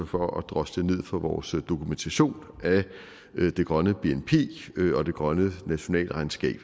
for at drosle ned for vores dokumentation af det grønne bnp og det grønne nationalregnskab